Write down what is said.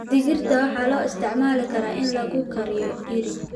Digirta waxaa loo isticmaali karaa in lagu kariyo iri.